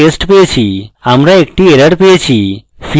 আমরা একটি error পেয়েছি